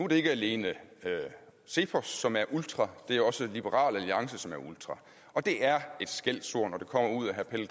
det ikke alene cepos som er ultra det er også liberal alliance som er ultra og det er et skældsord når det kommer ud af herre pelle